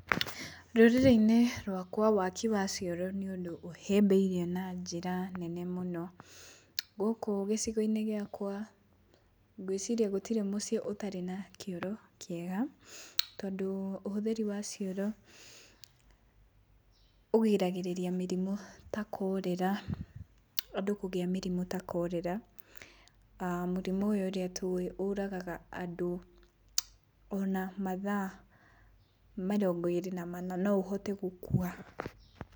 Rũrĩrĩ-inĩ rwakwa waki wa cioro nĩũndũ ũhĩmbĩirio na njĩra nene mũno. Gũkũ gĩcigo-inĩ gĩakwa, gwĩciria gũtirĩ na mũciĩ ũtarĩ na kĩoro kĩega, tondũ ũhũthĩri wa cioro ũgiragĩrĩria mĩrimũ ta chorela, andũ kũgĩa mĩrimũ ta cholera. Mũrimũ ũyũ ũrĩa tũĩ ũragaga andũ ona mathaa mĩrongo ĩrĩ na mana no ũhote gũkua.